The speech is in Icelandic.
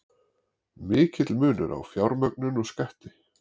Mikill munur á fjármögnun og skatti